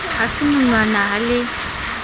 ha se monwana ha le